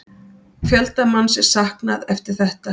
Fjölda manns er saknað eftir þetta